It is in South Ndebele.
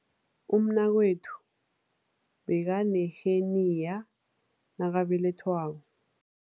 Umnakwethu bekaneheniya nakabelethwako.